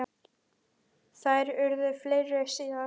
Þær urðu fleiri síðar.